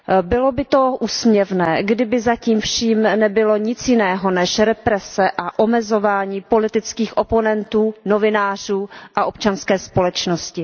Bylo by to úsměvné, kdyby za tím vším nebylo nic jiného než represe a omezování politických oponentů, novinářů a občanské společnosti.